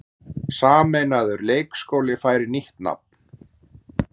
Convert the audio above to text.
Sameinaður leikskóli fær nýtt nafn